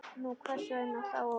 Nú, hvers vegna þá ekki?